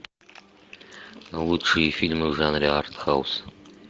лучшие фильмы в жанре артхаус